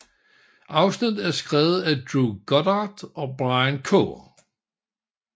Afsnittet er skrevet af Drew Goddard og Brian K